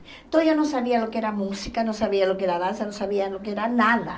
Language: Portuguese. Então eu não sabia o que era música, não sabia o que era dança, não sabia o que era nada.